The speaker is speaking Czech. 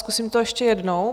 Zkusím to ještě jednou.